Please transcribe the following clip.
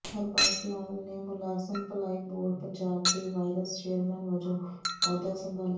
ਹਰਬੰਸ ਲਾਲ ਨੇ ਮੁਲਾਜ਼ਮ ਭਲਾਈ ਬੋਰਡ ਪੰਜਾਬ ਦੇ ਵਾਈਸ ਚੇਅਰਮੈਨ ਵੱਜੋਂ ਅਹੁਦਾ ਸੰਭਾਲਿਆ